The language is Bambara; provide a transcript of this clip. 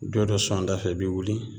Don dɔ sɔn a da fɛ i bi wuli